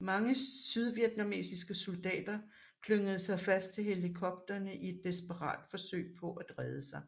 Mange sydvietnamesiske soldater klyngede sig fast til helikopterne i et desperat forsøg på at redde sig